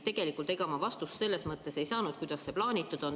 Tegelikult ega ma vastust selles mõttes ei saanud, kuidas see plaanitud on.